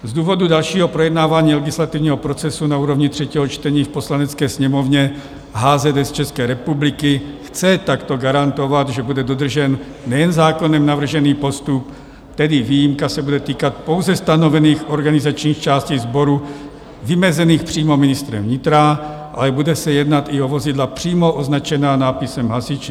Z důvodu dalšího projednávání legislativního procesu na úrovni třetího čtení v Poslanecké sněmovně HZS České republiky chce takto garantovat, že bude dodržen nejen zákonem navržený postup, tedy výjimka se bude týkat pouze stanovených organizačních částí sboru vymezených přímo ministrem vnitra, ale bude se jednat i o vozidla přímo označená nápisem Hasiči.